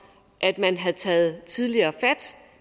at man havde taget tidligere fat